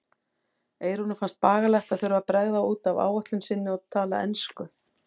Eyrúnu fannst bagalegt að þurfa að bregða út af áætlun sinni og tala ensku.